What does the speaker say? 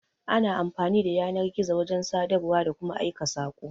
Ana amfani da yanar-gizo wajan sadarwa, da kuma Aika sako